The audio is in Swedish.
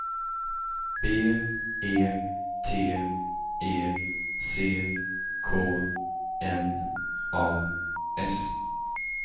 B E T E C K N A S